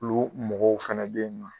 Ulu mɔgɔw fɛnɛ be yen nɔ